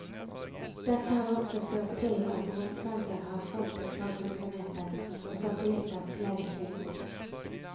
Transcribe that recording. Dette har også ført til at romferger har falt et par hundre meter og satellitter flere kilometer.